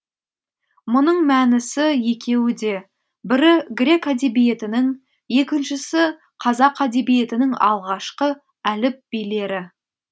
мұның мәнісі екеуі де бірі грек әдебиетінің екіншісі қазақ әдебиетінің алғашқы әліп билері